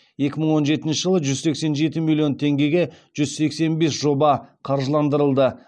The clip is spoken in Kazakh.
екі мың он жетінші жылы жүз сексен жеті миллион теңгеге жүз сексен бес жоба қаржыландырылды